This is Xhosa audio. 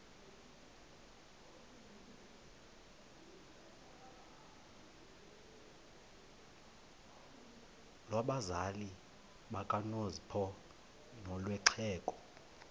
lwabazali bakanozpho nolwexhego